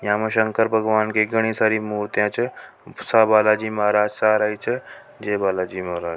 यहाँ शंकर भगवान की घणी सारी मूर्ति छ सा बालाजी महाराज सा आ रही छ जय बालाजी महाराज।